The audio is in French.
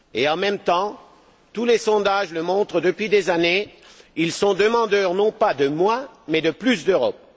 En même temps, tous les sondages le montrent depuis des années, ils sont demandeurs non pas de moins, mais de plus d'Europe.